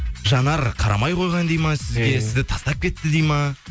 жанар қарамай қойған дейді ме сізге сізді тастап кетті дейді ме